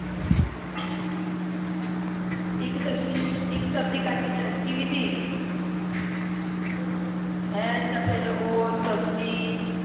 ਇੱਕ ਸਬਜੀ ਕੱਟ ਕੇ ਰੱਖੀ ਵੀ ਤ ਹੈ ਤੇ ਫਰ ਓਹ ਸਬਜੀ।